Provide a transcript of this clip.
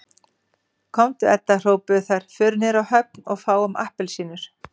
Komdu Edda hrópuðu þær, förum niður á höfn og fáum APPELSÍNUR